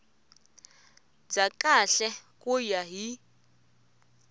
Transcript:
bya kahle ku ya hi